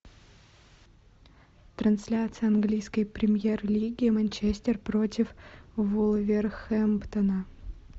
трансляция английской премьер лиги манчестер против вулверхэмптона